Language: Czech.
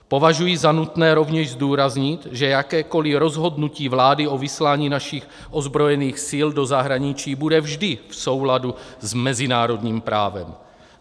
Považuji za nutné rovněž zdůraznit, že jakékoliv rozhodnutí vlády o vyslání našich ozbrojených sil do zahraničí bude vždy v souladu s mezinárodním právem.